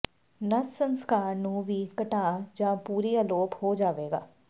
ਨਸ ਸੰਸਕਾਰ ਨੂੰ ਵੀ ਘਟਾ ਜ ਪੂਰੀ ਅਲੋਪ ਹੋ ਜਾਵੇਗਾ